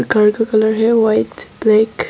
दीवार का कलर है व्हाइट ब्लैक ।